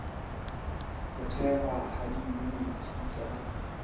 ho thehwa ha diyuniti tsa